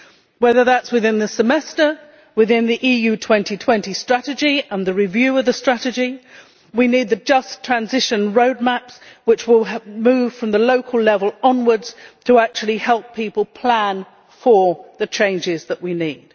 Whether that is within the Semester or within the EU 2020 Strategy and the review of the strategy, we need the Just Transition' roadmaps which will move from the local level onwards to actually help people plan for the changes that we need.